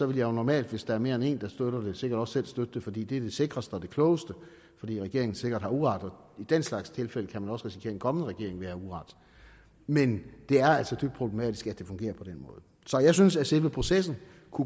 vil jeg normalt hvis der er mere end en der støtter det sikkert også selv støtte det fordi det vil sikreste og det klogeste fordi regeringen sikkert har uret i den slags tilfælde kan man også risikere at en kommende regering vil have uret men det er altså dybt problematisk at det fungerer på den måde så jeg synes at selve processen